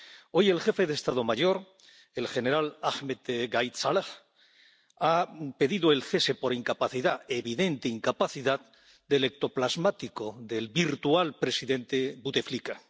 Hoy, el jefe del Estado Mayor, el general Ahmed Gaid Salah, ha pedido el cese por incapacidad —evidente incapacidad— del ectoplasmático, del virtual presidente Buteflika.